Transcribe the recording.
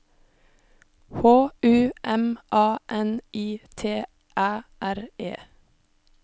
H U M A N I T Æ R E